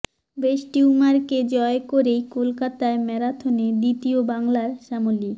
breast টিউমারকে জয় করেই কলকাতা ম্যারাথনে দ্বিতীয় বাংলার শ্যামলী